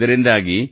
ಇದರಿಂದಾಗಿ